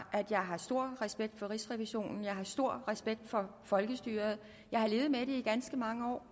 at jeg har stor respekt for rigsrevisionen jeg har stor respekt for folkestyret jeg har levet med det i ganske mange år